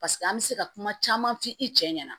Paseke an bɛ se ka kuma caman f'i cɛ ɲɛna